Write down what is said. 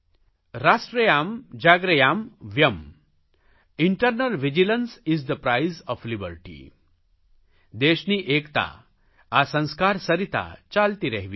રાષ્ટ્રયામ્ જાગ્રયામ્ વ્યમ્ eternal vigilance is the price of liberty દેશની એકતા આ સંસ્કાર સરિતા ચાલતી રહેવી જોઇએ